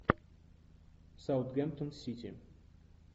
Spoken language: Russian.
саутгемптон сити